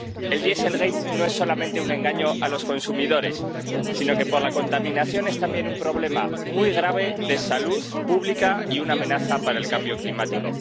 El dieselgate no es solamente un engaño a los consumidores sino que, por la contaminación, es también un problema muy grave de salud pública y una amenaza para el cambio climático.